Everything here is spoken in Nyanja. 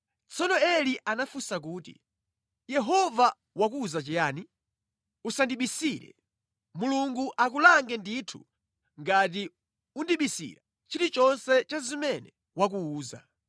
Tsono Eli anafunsa kuti, “Yehova wakuwuza chiyani? Usandibisire. Mulungu akulange ndithu ngati undibisira chilichonse cha zimene wakuwuza.”